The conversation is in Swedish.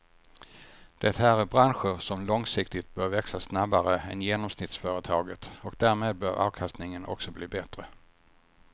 Det här är branscher som långsiktigt bör växa snabbare än genomsnittsföretaget och därmed bör avkastningen också bli bättre.